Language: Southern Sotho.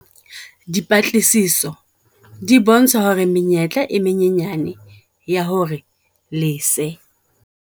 Dipatlisiso di bontsha hore menyetla e menyane ya hore lese